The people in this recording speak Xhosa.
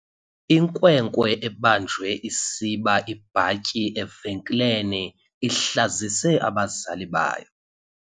Inkwenkwe ebanjwe isiba ibhatyi evenkileni ihlazise abazali bayo.